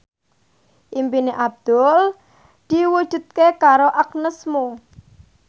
impine Abdul diwujudke karo Agnes Mo